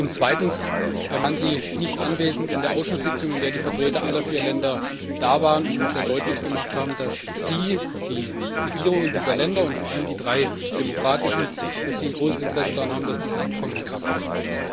Und zweitens Waren Sie nicht anwesend in der Ausschusssitzung, in der die Vertreter aller vier Länder da waren und uns sehr deutlich gemacht haben, dass sie die Regierungen dieser Länder, und vor allem die drei demokratischen ein großes Interesse daran haben, dass diese Abkommen in Kraft treten?